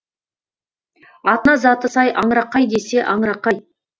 атына заты сай аңырақай десе аңырақай